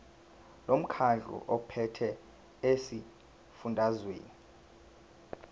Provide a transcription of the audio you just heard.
lomkhandlu ophethe esifundazweni